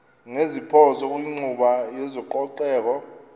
ngeziphoso kwinkqubo yezococeko